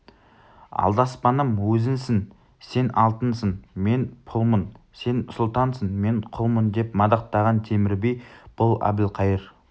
алдаспаным өзіңсің сен алтынсың мен пұлмын сен сұлтансың мен құлмын деп мадақтаған темір би бұл әбілқайыр